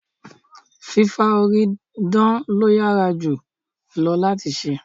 Fìfà orí dán lo yára jù lọ láti se